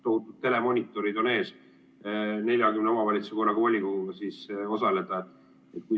Tohutud telemonitorid on ees, et 40 omavalitsuse volikogu istungil osaleda.